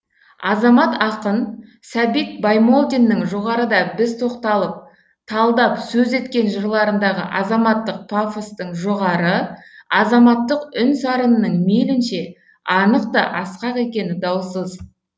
азамат ақын сәбит баймолдиннің жоғарыда біз тоқталып талдап сөз еткен жырларындағы азаматтық пафостың жоғары азаматтық үн сарынының мейлінше анық та асқақ екені даусыз